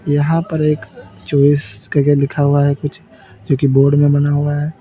यहां पर एक चॉइस करके लिखा हुआ है कुछ जो कि बोर्ड में बना हुआ है।